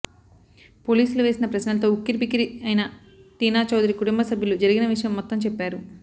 పోలీసులు వేసిన ప్రశ్నలతో ఉక్కిరిబిక్కిరి అయిన టీనా చౌదరి కుటుంబ సభ్యులు జరిగిన విషయం మొత్తం చెప్పారు